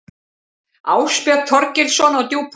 Ásbjörn Þorgilsson á Djúpavík